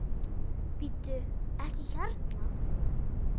Bíddu. ekki hérna!